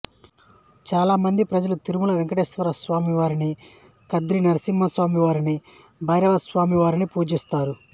చాలామంది ప్రజలు తిరుమల వేంకటేశ్వరస్వామివారిని ఖాధ్రి నరసింహాస్వామివారిని భైరవేశ్వరస్వామి వారిని పూజిస్తారు